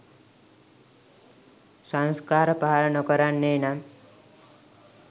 සංස්කාර පහළ නොකරන්නේ නම්